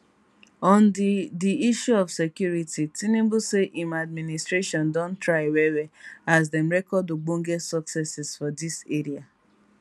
on di di issue of security tinubu say im administration don try wellwell as dem record ogbonge successes for dis area